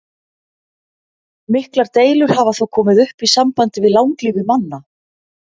Miklar deilur hafa þó komið upp í sambandi við langlífi manna.